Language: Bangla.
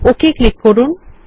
ওক ক্লিক করুন